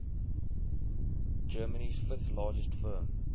germany's fifth largest firm